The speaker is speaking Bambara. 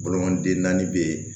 Bolomanden naani bɛ yen